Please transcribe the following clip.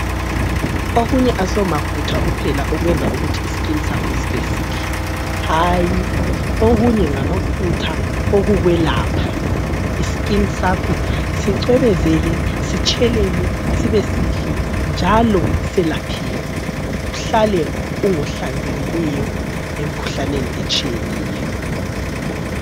Okunye asomafutha kuphela okwenza ukuthi isikini sakho sibe sihle, hayi okunye ngamafutha okukwelapha isikini sakho sicwebezele sitshelele sibe sihle njalo silapheke uhlale ungohlanzekileyo emkhuhlaneni etshiyeneyo.